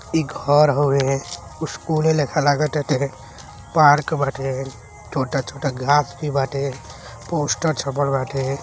इ घर हवे स्कूले लेखा लाग ताटे पार्क बाटे छोटा-छोटा घास भी बाटे पोस्टर छपल बाटे।